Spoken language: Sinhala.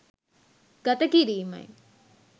ගත කිරීමයි.